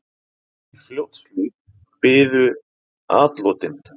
Í Fljótshlíð biðu atlotin.